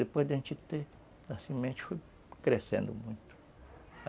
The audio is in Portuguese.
Depois da gente ter a semente foi crescendo muito.